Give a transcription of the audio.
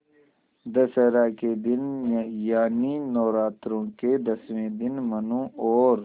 दशहरा के दिन यानि नौरात्रों के दसवें दिन मनु और